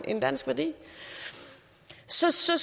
en dansk værdi så så